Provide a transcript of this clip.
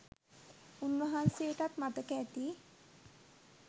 උන්වහන්සේටත් මතක ඇති..